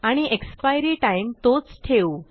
आणि expiry time तोच ठेवू